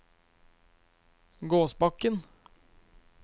Gåsbakken